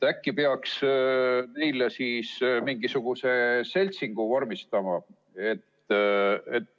Äkki peaks neile siis mingisuguse seltsingu vormistama.